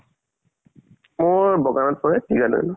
মোৰ বগানত কৰে ঠিকাদাৰ